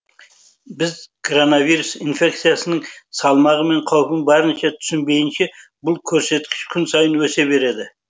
біз коронавирус инфекциясының салмағы мен қаупін барынша түсінбейінше бұл көрсеткіш күн сайын өсе береді